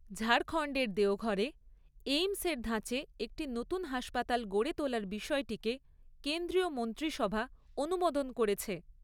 ঝাড়খণ্ডের দেওঘরে এইমসের ধাঁচে একটি নতুন হাসপাতাল গড়ে তোলা বিষয়টিকে কেন্দ্রীয় মন্ত্রিসভা অনুমোদন করেছে।